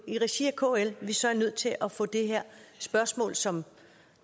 i regi af kl at vi så er nødt til at få det her spørgsmål som